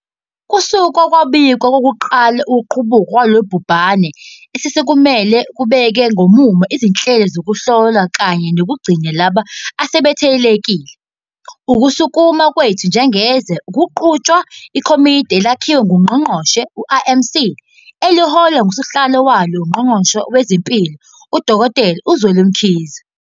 Kusuka kwabikwa okokuqala ngokuqubuka kwalolu bhubhane sesisukumile ukubeka ngomumo izinhlelo zokuhlola kanye nokugcina labo asebethelelekile. Ukusukuma kwethu njengezwe kuqhutshwa iKomidi Elakhiwe Ngongqongqoshe, i-IMC, eliholwa ngusihlalo walo uNgqongqoshe Wezempilo, uDkt Zweli Mkhize.